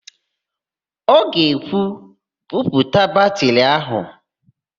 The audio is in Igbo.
Ọ ga-ekwu, "buputa batịrị áhụ̀"!